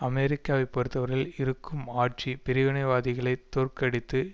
அமெரிக்காவை பொறுத்தவரையில் இருக்கும் ஆட்சி பிரிவினைவாதிகளை தோற்கடித்து